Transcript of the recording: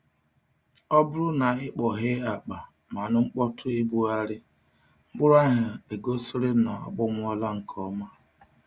Ọ bụrụ na i kpọghee akpa ma nụ mkpọtụ igbugharị, mkpụrụ ahụ egosiri na akpọnwụla nke ọma.